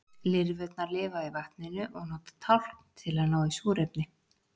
Lirfurnar lifa í vatninu og nota tálkn til að ná í súrefni.